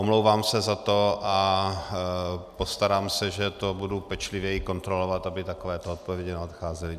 Omlouvám se za to a postarám se, že to budu pečlivěji kontrolovat, aby takovéto odpovědi neodcházely.